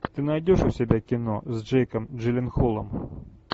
ты найдешь у себя кино с джейком джилленхолом